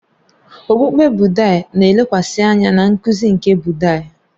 Okpukpe Bụddha na-elekwasị anya na nkuzi nke Bụddha